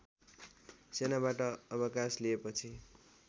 सेनाबाट अवकास लिएपछि